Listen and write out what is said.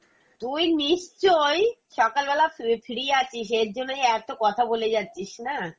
তুই নিশ্চয়ই সকালবেলা, fre~free আছিস এর জন্যই এত কথা বলে যাচ্ছিস না?